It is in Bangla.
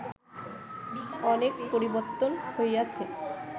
অনেক পরিবর্ত্তন হইয়াছে